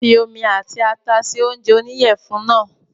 Fi omi àti ata se oúnjẹ oníyẹ̀fun náà